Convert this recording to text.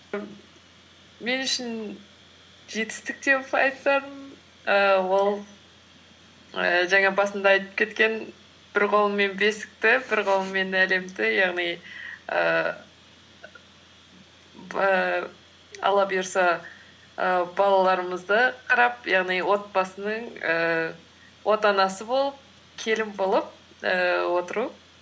мен үшін жетістік деп айтсам ііі ол ііі жаңа басында айтып кеткен бір қолыммен бесікті бір қолыммен әлемді яғни ііі і алла бұйырса і балаларымызды қарап яғни отбасының ііі отанасы болып келін болып ііі отыру